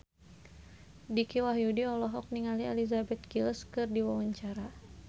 Dicky Wahyudi olohok ningali Elizabeth Gillies keur diwawancara